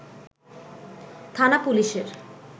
থানা পুলিশের